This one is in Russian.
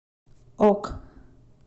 ок